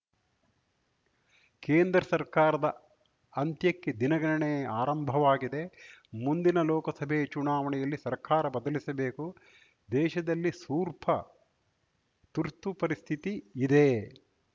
ಕೇಂದ್ರ ಸರ್ಕಾರದ ಅಂತ್ಯಕ್ಕೆ ದಿನಗಣನೆ ಆರಂಭವಾಗಿದೆ ಮುಂದಿನ ಲೋಕಸಭೆ ಚುನಾವಣೆಯಲ್ಲಿ ಸರ್ಕಾರ ಬದಲಿಸಬೇಕು ದೇಶದಲ್ಲಿ ಸೂರ್ಪ ತುರ್ತುಪರಿಸ್ಥಿತಿ ಇದೆ